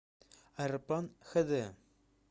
аэроплан хэ дэ